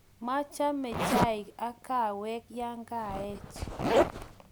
machame chaik ak kahawek ya kaech